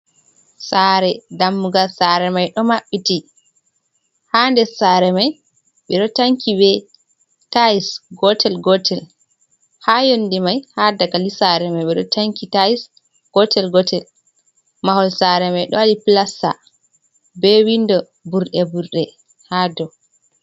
Saare, dammugal saare mai ɗo maɓɓiti, ha nder saare mai ɓe ɗo tanki be tais gotel gotel, ha yonde mai ha dagali saare mai ɓe ɗo tanki tais gotel gotel. Mahol sare mai ɗo waɗi pilasta be windo burɗe burɗe ha dou.